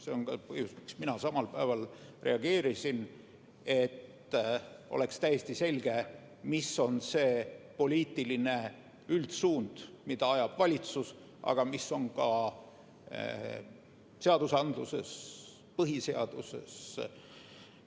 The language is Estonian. See on ka põhjus, miks mina samal päeval reageerisin – et oleks täiesti selge, milline on poliitiline üldsuund, mida ajab valitsus, aga mis on ka kirjas seadustes ja põhiseaduses.